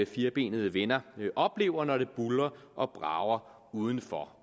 firbenede venner oplever når det buldrer og brager udenfor